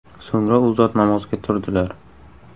So‘ngra u zot namozga turdilar.